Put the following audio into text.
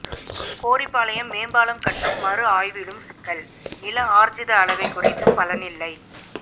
கோரிப்பாளையம் மேம்பாலம் கட்டும் மறுஆய்விலும் சிக்கல் நிலஆர்ஜித அளவை குறைத்தும் பலனில்லை